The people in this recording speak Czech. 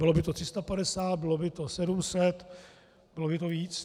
Bylo by to 350, bylo by to 700, bylo by to víc?